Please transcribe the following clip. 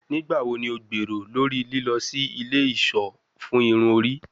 Nigbawo ni o gbero lori lilọ si ile iṣọ fun irun ori?